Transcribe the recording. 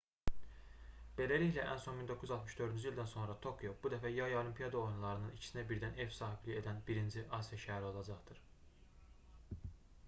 beləliklə ən son 1964-cü ildən sonra tokio bu dəfə yay olimpiada oyunlarının ikisinə birdən ev sahibliyi edən birinci asiya şəhəri olacaqdır